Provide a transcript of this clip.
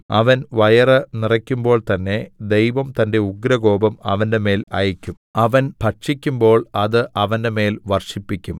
അവൻ വയറ് നിറയ്ക്കുമ്പോൾത്തന്നെ ദൈവം തന്റെ ഉഗ്രകോപം അവന്റെമേൽ അയയ്ക്കും അവൻ ഭക്ഷിക്കുമ്പോൾ അത് അവന്റെമേൽ വർഷിപ്പിക്കും